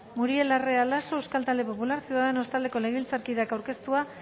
muriel larrea laso euskal talde popularra ciudadanos taldeko legebiltzarkideak aurkeztua